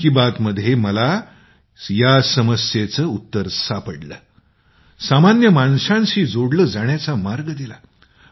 मन की बात ने मला या आव्हानावर उपाय दिला सामान्य माणसांशी जोडलं जाण्याचा मार्ग दिला